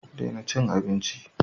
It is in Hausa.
Daina cin abinchi.